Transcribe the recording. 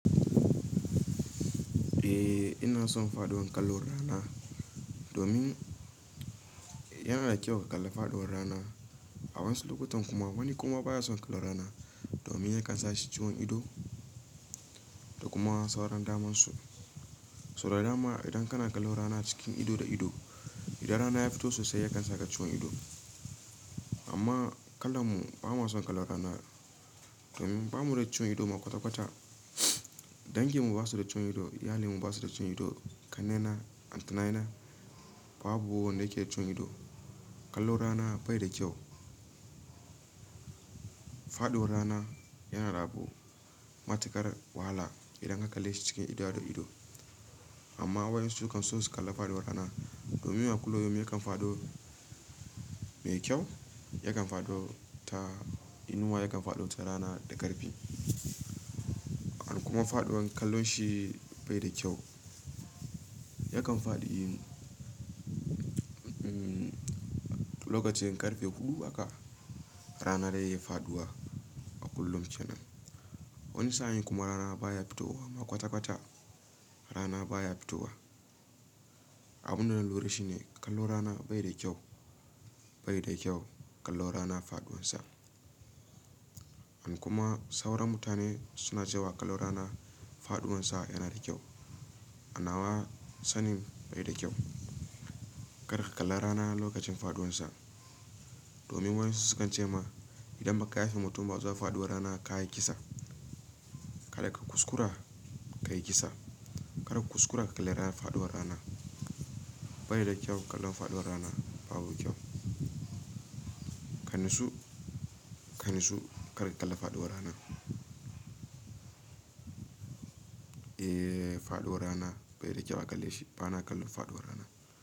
Eh ina son faɗuwar kallo rana domin yana da kyau ka kalla faɗuwar rana. A wasu lokutan kuma wani kuma baya son kallo rana domin yakan sashi ciwon ido da kuma sauran damansu. So da dama idan kana kallo rana cikin ido da ido, idan rana ya fito sosai yakan saka ciwon ido. Amma kallon mu ba ma son kallo rana domin ba mu da ciwon ido ma kwata-kwata. Dangin mu basu da ciwon ido, iyalin mu basu da ciwon ido, ƙanena, auntnayena babu wanda yake da ciwon ido. Kallo rana bai da kyau. Faɗuwar rana yana rabu matukar wahala idan ka kalle shi cikin ido da ido. Amma wasu su kan so su kalla faɗuwar rana domin a kullum yakan faɗo mai kyau, yakan faɗo ta inuwa, yakan faɗo ta rana da ƙarfi han kuma faɗuwar kallon shi bai da kyau. Yakan faɗi yin umm, lokacin ƙarfe huɗu aka rana dai ya faɗuwa a kullum ce nan. Wani sa'in kuma rana baya fitowa ma kwata-kwata rana baya fitowa. Abunda na lura shi ne kallo rana bai da kyau, bai da kyau kallo rana faɗuwan sa. Han kuma sauran mutane suna cewa kallo rana faɗuwan sa yana da kyau. Anawa sanin bai da kyau. Karka kalla rana lokacin faɗuwan sa. Domin wayansu su kan ce ma idan ba ka yafe mutum ba zuwa faɗuwar rana ka yi kisa, ka da ka kuskura ka yi kisa. Karka kuskura ka kalle rana faɗuwar rana. Bai da kyau kallon faɗuwar rana babu kyau. Kanasu, kanasu karka kalla faɗuwar rana. Eh faɗuwar rana bai da kyau a kalle shi bana kallon faɗuwar rana.